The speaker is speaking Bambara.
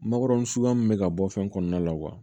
Makɔrɔni suguya min bɛ ka bɔ fɛn kɔnɔna la